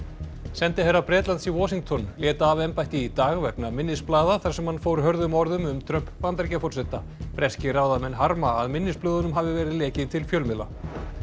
sendiherra Bretlands í Washington lét af embætti í dag vegna minnisblaða þar sem hann fór hörðum orðum um Trump Bandaríkjaforseta breskir ráðamenn harma að minnisblöðunum hafi verið lekið til fjölmiðla